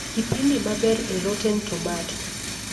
Kipindi maber e rotten tomato